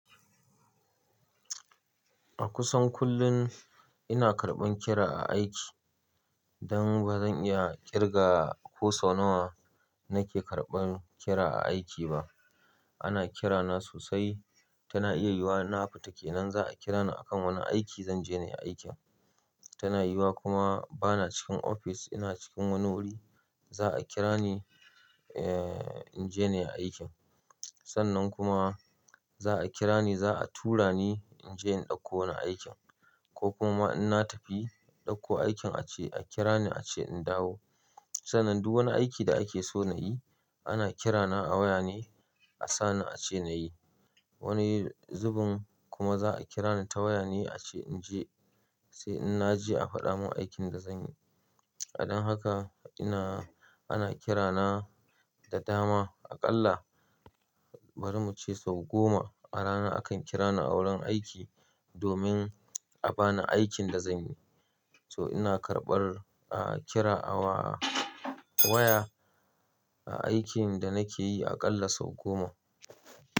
A kusan kullum ina karɓan kira a aiki. Dan bazan iya kirga ko sau nawa nake karɓan kira a aiki ba. Ana kirana sosai, tana iya yiwuwa na fita kenan za a kira ni akan wani aiki zanje nayi aikin. Tana yiwuwa kuma bana cikin ofis ina cikin wani wuri za a kira ni, eh, inje nayi aikin. Sannan kuma za a kira ni za a tura ni inje in ɗauko wani aikin ko kuma in na tafi ɗauko aikin ace a kira ni ace in dawo. Sannan duk wani aiki da ake so nayi ana kirana a waya ne a sa ni ace nayi. Wani zubin kuma za a kira ni ta waya ne ace inje sai in naje a faɗa mun aikin da zanyi. Don haka ina, ana kirana da dama aƙalla bari muce sau goma a rana akan kira ni a wurin aiki domin a bani aikin da zanyi. So ina karɓar, ah kira ah wa, waya a aikin da nake yi aƙalla sau goma.